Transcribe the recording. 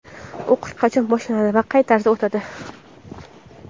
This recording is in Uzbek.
O‘qish qachon boshlanadi va qay tarzda o‘tadi?.